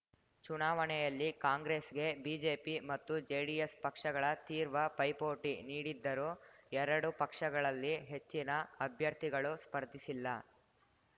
ಚುನಾವಣೆಯಲ್ಲಿ ಕಾಂಗ್ರೆಸ್‌ಗೆ ಬಿಜೆಪಿ ಮತ್ತು ಜೆಡಿಎಸ್‌ ಪಕ್ಷಗಳ ತೀರ್ವ ಪೈಪೋಟಿ ನೀಡಿದ್ದರೂ ಎರಡೂ ಪಕ್ಷಗಳಲ್ಲಿ ಹೆಚ್ಚಿನ ಅಭ್ಯರ್ಥಿಗಳು ಸ್ಪರ್ಧಿಸಿಲ್ಲ